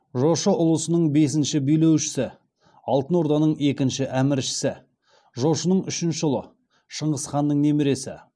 жошы ұлысының бесінші билеушісі алтынорданың екінші әміршісі жошының үшінші ұлы шыңғысханның немересі